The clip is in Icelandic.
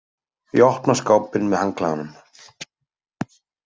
Ég opna skápinn með handklæðunum.